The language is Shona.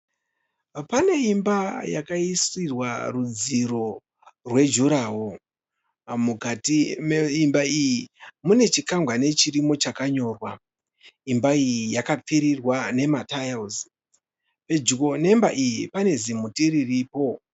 Pane imba yakaisiwa rudziro rwejurahoro, mukati meimba iyi mune chikwakwani chirimo chakanyorwa. Imba iyi yakapfurirwa nematayira. Pedyo nemba iyi pane zimuti riripo.